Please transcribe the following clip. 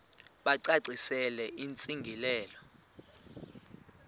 bacacisele intsi ngiselo